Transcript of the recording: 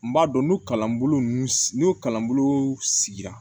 N b'a dɔn n'o kalanbolo ninnu n'o kalanbolo sigira